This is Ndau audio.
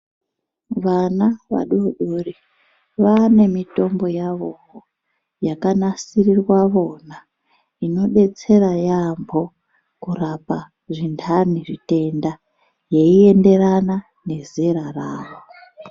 Vana vadoodori vaanemitombo yavowo yakanasisirwa vona. Inodetsera yaamho kurapa zvintani zvitenda. Yeienderana nezera ravo.